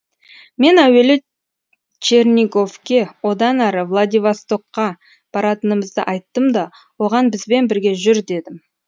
мен әуелі черниговке одан әрі владивостокқа баратынымызды айттым да оған бізбен бірге жүр дедім